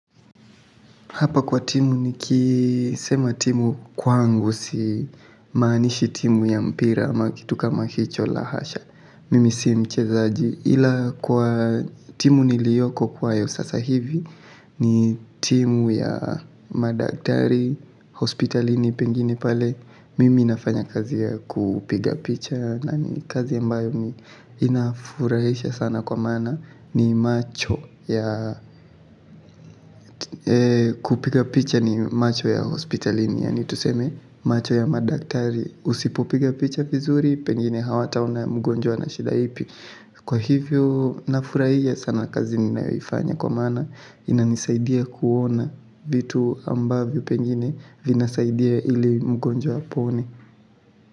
Hapa kwa timu ni kisema timu kwangu si maanishi timu ya mpira ama kitu kama hicho la hasha mimi si mchezaji ila kwa timu niliyoko nayo sasa hivi ni timu ya madaktari hospitalini pengine pale. Mimi nafanya kazi ya kupiga picha na ni kazi ambayo ni inafurahisha sana kwa maana ni macho ya kupiga picha ni macho ya hospitalini yani tuseme macho ya madaktari usipopiga picha vizuri pengine hawataona mgonjwa ana shida ipi na kwa hivyo ninafurahia sana kwa kazi ninayoifanya kwa maana inanisaidia kuona vitu ambavyo pengine vinasaidia ili mgonjwa apone.